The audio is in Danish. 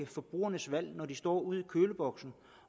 forbrugernes valg når de står ude ved køleboksen